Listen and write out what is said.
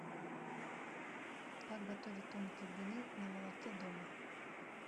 как готовить тонкие блины на молоке дома